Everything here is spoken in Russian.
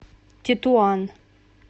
тетуан